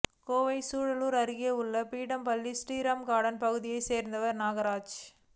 கோவை சூலூர் அருகே உள்ள பீடம்பள்ளி ஸ்ரீராம் கார்டன் பகுதியை சேர்ந்தவர் நாகராஜ்